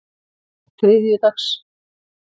þriðjudags